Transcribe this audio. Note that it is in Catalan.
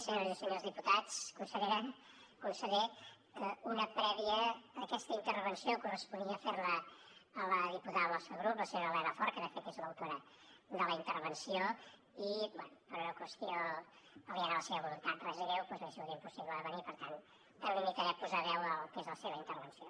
senyores i senyors diputats consellera conseller una prèvia aquesta intervenció corresponia fer la a la diputada del nostre grup senyora elena fort que de fet és l’autora de la intervenció i bé per una qüestió aliena a la seva voluntat res greu doncs li ha sigut impossible de venir per tant em limitaré a posar veu al que és la seva intervenció